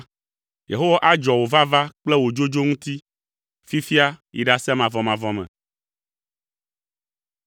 Yehowa adzɔ wò vava kple wò dzodzo ŋuti, fifia yi ɖase mavɔmavɔ me.